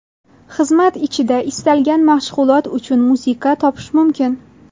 Xizmat ichida istalgan mashg‘ulot uchun musiqa topish mumkin.